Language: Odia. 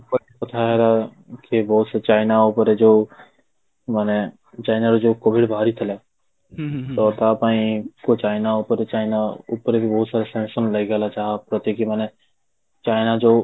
କଥା ହେଲା କି ବହୁତ ସେ ଚାଇନା ଉପରେ ଯୋଉ ମାନେ ଚାଇନା ରେ ଯୋଉ COVID ବାହାରିଥିଲା ତ ତା ପାଇଁ ଚାଇନା ଉପରେ ଚାଇନା ଉପରେ ବି ବହୁତ ସାରା tension ବି ଲାଗିଗଲା ,ଯାହା ପ୍ରତି କି ମାନେ ଚାଇନା ଯୋଉ